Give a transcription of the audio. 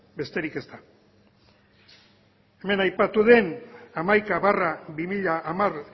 besterik ez da hemen aipatu den hamaika barra bi mila hamar